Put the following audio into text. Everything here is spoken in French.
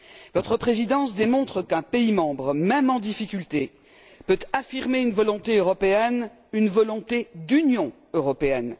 Votre présidence démontre qu'un pays membre, même en difficulté, peut affirmer une volonté européenne, une volonté d'Union européenne.